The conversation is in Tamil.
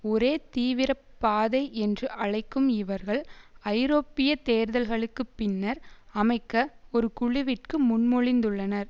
ஒரே தீவிர பாதை என்று அழைக்கும் இவர்கள் ஐரோப்பிய தேர்தல்களுக்கு பின்னர் அமைக்க ஒரு குழுவிற்கு முன்மொழிந்துள்ளனர்